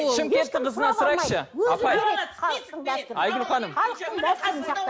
шымкенттің қызынан сұрайықшы апай айгүл ханым